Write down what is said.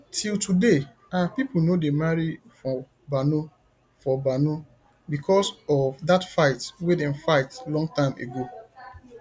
till today our people no dey marry for mbano for mbano because of that fight wey dem fight long time ago